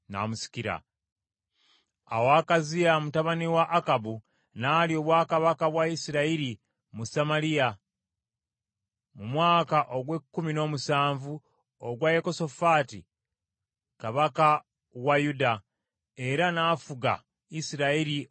Awo Akaziya mutabani wa Akabu n’alya obwakabaka kabaka bwa Isirayiri mu Samaliya mu mwaka ogw’ekkumi n’omusanvu ogwa Yekosafaati kabaka wa Yuda, era n’afuga Isirayiri okumala emyaka ebiri.